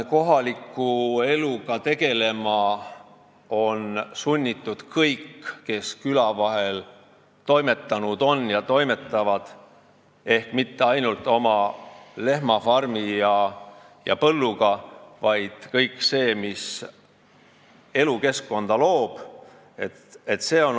Kohaliku eluga on sunnitud tegelema kõik, kes küla vahel on toimetanud ja toimetavad, ning mitte ainult oma lehmafarmi ja põlluga, vaid kõige sellega, mis elukeskkonda loob.